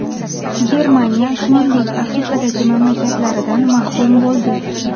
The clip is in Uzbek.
Germaniya, shuningdek, Afrikadagi mustamlakalaridan mahrum bo‘ldi.